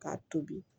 K'a tobi